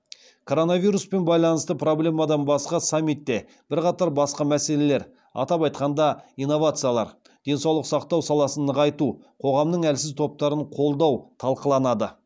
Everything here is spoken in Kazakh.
коронавируспен байланысты проблемалардан басқа саммитте бірқатар басқа мәселелер атап айтқанда инновациялар денсаулық сақтау саласын нығайту қоғамның әлсіз топтарын қолдау талқыланады